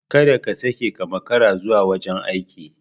Kada ka sake ka makara zuwa wajen aiki.